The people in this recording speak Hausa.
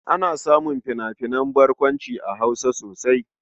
Ana samun fina-finan barkwanci a Hausa sosai.